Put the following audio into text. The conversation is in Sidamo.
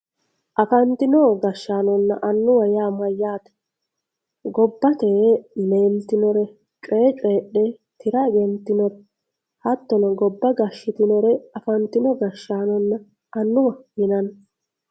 afantino gashshaanonna annuwa yaa mayyaate gobbate leeltinore coyee coyiidhe tira egentinore hattono gobba gashshitinore afantino gashshaanonna annuwaho yinanni.